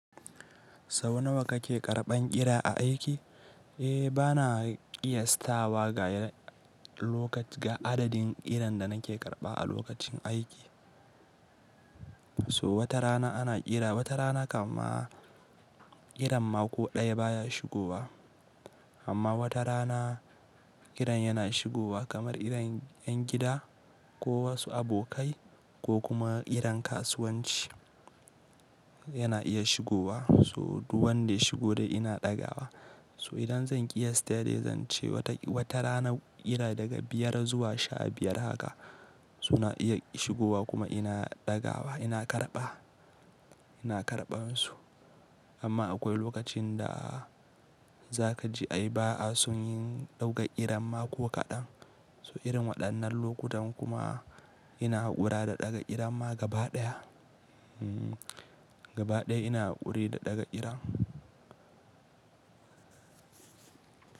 Sau nawa kake karɓan ƙira a aiki? Eh, bana ƙiyastawa ga lokac-- ga adadin ƙiran da nake karɓa a lokacin aiki. So wata rana ana ƙira, wata rana kaman ƙiran mako ɗaya baya shigowa. Amma wata rana ƙiran yana shigowa kamar ƙiran ƴan gida ko wasu abokai ko kuma ƙiran kasuwanci yana iya shigowa. So duk wanda ya shigo dai ina ɗaga wa. So idan zan ƙiyasta dai zan ce wata, wata rana ƙira daga biyar zuwa sha biyar haka suna iya shigowa kuma ina ɗaga wa, ina karɓa, ina karɓan su. Amma akwai lokacin da za ka ji ai ba a son yin ɗaukar ƙiran mako kaɗan. So irin waɗannan lokutan kuma ina haƙura da ɗaga ƙira ma gaba ɗaya. Hmm, gaba ɗaya ina haƙuri da ɗaga ƙira.